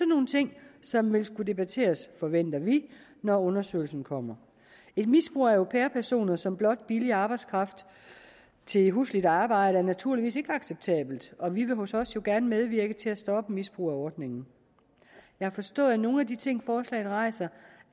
nogle ting som vil skulle debatteres forventer vi når undersøgelsen kommer et misbrug af au pair personer som blot billig arbejdskraft til husligt arbejde er naturligvis ikke acceptabelt og vi vil hos os gerne medvirke til at stoppe misbrug af ordningen jeg har forstået at nogle af de ting forslaget rejser